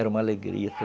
Era uma alegria.